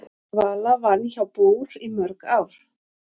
Vala vann hjá BÚR í mörg ár.